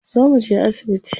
Zo mu je asibiti.